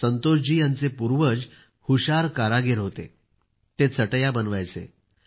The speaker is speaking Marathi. संतोषजी यांचे पूर्वज हुशार कारागीर होते ते चटई बनवायचे